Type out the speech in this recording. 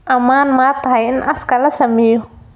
Ammaan ma tahay in aaska la sameeyo?